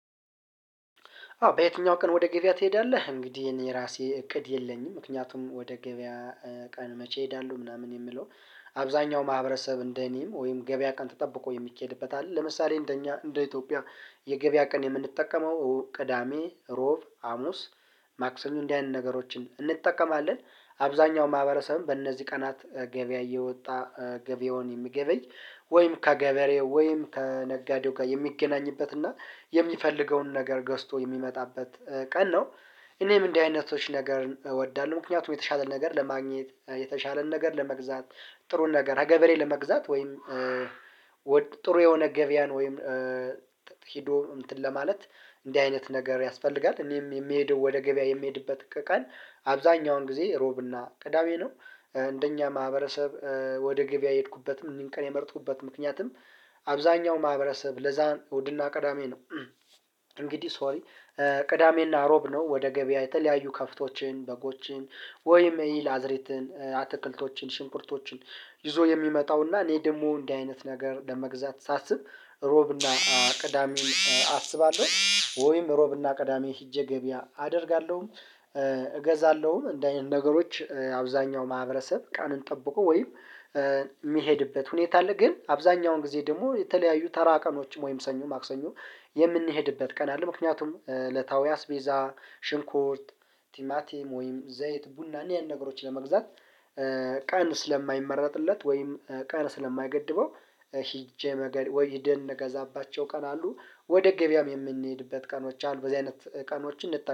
አዎ በየትኛው ቀን ወደ ገበያ ትሄዳለህ? እንግዲህ የኔ ራሴ እቅድ የለኝም። ምክንያቱም ወደ ገበያ ቀን መቼ እሄዳለሁ ምናምን የምለው። አብዛኛው ማህበረሰብ እንደኔም ወይም ገበያ ቀን ተጠብቆ የሚኬድበት አለ። ለምሳሌ እንደኛ እንደ ኢትዮጵያ የገበያ ቀን የምንጠቀመው ቅዳሜ ሮብ ሀሙስ ማክሰኞ እንዲህ አይነት ነገሮችን እንጠቀማለን። አብዛኛው ማህበረሰብም በእነዚህ ቀናት ገበያ እየወጣ ገበያውን የሚገበይ ወይም ከገበሬ ወይም ከነጋዴው ጋር የሚገናኝበት እና የሚፈልገውን ነገር ገዝቶ የሚመጣበት ቀን ነው። እኔም እንዲህ አይነቶች ነገር እወዳለሁ። ምክንያቱም የተሻለ ነገር ለማግኘት የተሻለን ነገር ለመግዛት ጥሩን ነገር ከገበሬ ለመግዛት ወይም ወደ ጥሩ የሆነ ገበያን ወይም ሂዶ እንትን ለማለት እንዲህ አይነት ነገር ያስፈልጋል። እኔም የምሄደው ወደ ገበያ የምሄድበት ከቀን አብዛኛውን ጊዜ ሮብና ቅዳሜ ነው። እንደኛ ማህበረሰብ ወደ ገበያ የሄድኩበትም እኒህን ቀንም የመረጥኩበት ምክንያትም አብዛኛው ማህበረሰብ ለዛ እሁድና ቀዳሜ ነው። እንግዲህ ሶሪ ቅዳሜና አሮብ ነው። ወደ ገበያ የተለያዩ ከብቶችን በጎችን ወይም የእህልአዝሬትን አትክልቶችን ሽንኩርቶችን ይዞ የሚመጣውና እኔ ደግሞ እንደዚህ አይነት ነገር ለመግዛት ሳስብ ሮብና ቅዳሜን አስባለሁ ወይም ሮብና ቅዳሜ ሂጄ ገበያ አደርጋለሁ። እገዛለሁኝ እንደዚህ አይነት ነገሮች አብዛኛው ማህበረሰብ ቀንን ጠብቆ ወይም የሚሄድበት ሁኔታ አለ። ግን አብዛኛውን ጊዜ ደግሞ የተለያዩ ተራ ቀኖችም ወይም ሰኞ ማክሰኞ የምንሄድበት ቀን ምክንያቱም ዕለታዊአስ ቤዛ ሽንኩርት ቲማቲም ወይም ዘይት ቡና እኒያን ነገሮች ለመግዛት ቀን ስለማይመረጥለት ወይም ቀን ስለማይገድበው። ሂጄ መገድ ወይ ሂድን ምንገዛባቸው ቀን አሉ። ወደ ገበያም የምንሄድበት ቀኖች አሉ በዚህ አይነት ቀኖችን እንጠቀም